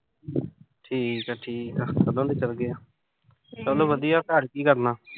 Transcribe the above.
ਠੀਕ ਆ-ਠੀਕ ਆ ਕਦੋਂ ਦੇ ਚਲ ਗਏ ਆ। ਚਲ ਵਧੀਆ ਘਰ ਕੀ ਕਰਨਾ।